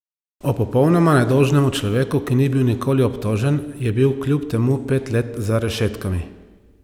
O popolnoma nedolžnem človeku, ki ni bil nikoli obtožen, a je bil kljub temu pet let za rešetkami?